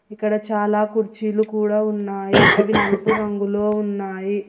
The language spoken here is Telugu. ఇక్కడ చాలా కుర్చీలు కూడా ఉన్నాయి అవి నలుపు రంగులో ఉన్నాయి.